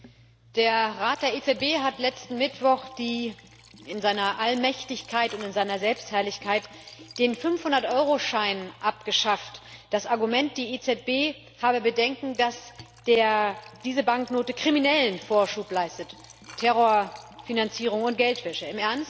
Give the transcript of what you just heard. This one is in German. Herr Präsident! Der Rat der EZB hat letzten Mittwoch in seiner Allmächtigkeit und in seiner Selbstherrlichkeit den Fünfhundert Euro Schein abgeschafft. Das Argument Die EZB habe Bedenken, dass diese Banknote Kriminellen Vorschub leistet, Terrorfinanzierung und Geldwäsche.